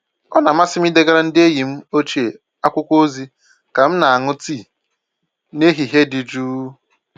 Ọ na-amasị m idegara ndị enyi m ochie akwụkwọ ozi ka m na-aṅụ tii n'ehihie dị jụụ.